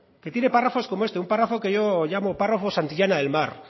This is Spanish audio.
que tiene párrafos como este un párrafo que yo llamo párrafo santillana del mar